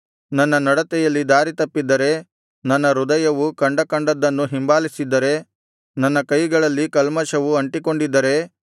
ನನ್ನ ನಡತೆಯಲ್ಲಿ ದಾರಿತಪ್ಪಿದ್ದರೆ ನನ್ನ ಹೃದಯವು ಕಂಡಕಂಡದ್ದನ್ನು ಹಿಂಬಾಲಿಸಿದ್ದರೆ ನನ್ನ ಕೈಗಳಲ್ಲಿ ಕಲ್ಮಷವು ಅಂಟಿಕೊಂಡಿದ್ದರೆ